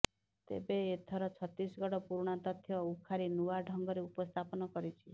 ତେବେ ଏଥର ଛତିଶଗଡ ପୁରୁଣା ତଥ୍ୟ ଉଖାରି ନୂଆ ଢ଼ଙ୍ଗରେ ଉପସ୍ଥାପନ କରିଛି